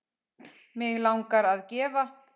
Mig langar að gefa.